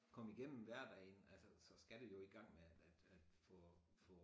Komme igennem hverdagen altså så skal du jo i gang med at at få få